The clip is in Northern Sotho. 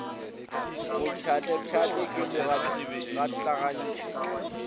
mo pšhatlapšhatle ke mo gatlagantšhe